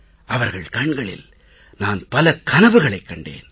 அவர்கள் கண்களில் நான் பல கனவுகளைக் கண்டேன்